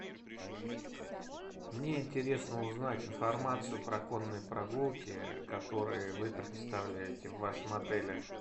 мне интересно узнать информацию про конные прогулки которые вы предоставляете в вашем отеле